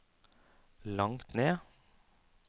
langt ned